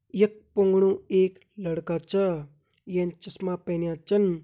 ये फुंगडु एक लड़का छ येन चश्मा पहनया छिन।